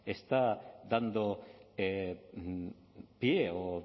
está dando pie o